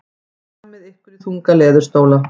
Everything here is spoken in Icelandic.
Hlammið ykkur í þunga leðurstóla.